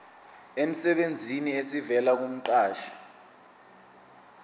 emsebenzini esivela kumqashi